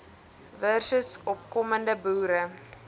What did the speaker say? versus opkomende boere